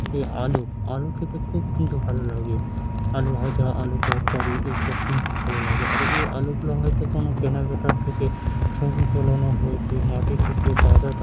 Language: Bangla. এ আলু | আলু খেতে খুব কিন্তু ভালো লাগে | আলু ভাজা আলু তরকারি এসব কিন্তু ভালো লাগে | আর এই আলুগুলা হয়ত কোন কেনাকাটা থেকে ছবি তোলানো হয়েছে | মাটি থেকে তাজা --